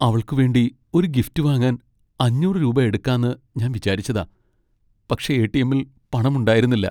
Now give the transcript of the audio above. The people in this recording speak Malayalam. അവൾക്കു വേണ്ടി ഒരു ഗിഫ്റ്റ് വാങ്ങാൻ അഞ്ഞൂറ് രൂപ എടുക്കാന്ന് ഞാൻ വിചാരിച്ചതാ. പക്ഷേ എ.ടി.എമ്മിൽ പണമുണ്ടായിരുന്നില്ല.